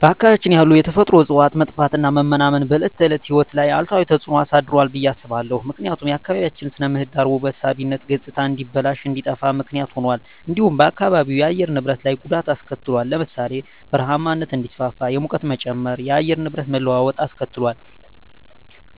በአካባቢያችን ያሉ የተፈጥሮ እፅዋት መጥፋትና መመናመን በዕለት ተዕለት ሕይወት ላይ አሉታዊ ተጽዕኖ አሳድሯል ብየ አስባለሁ። ምክንያቱም የአካባቢያችን ስነ ምህዳር ውበት ሳቢነት ገፅታ እንዲበላሽ እንዲጠፋ ምክንያት ሁኗል። እንዲሁም በአካባቢው የአየር ንብረት ላይ ጉዳት አሰከትሏል ለምሳሌ ( በረሃማነት እንዲስፋፋ፣ የሙቀት መጨመር፣ የአየር ንብረት መለዋወጥ አስከትሏል።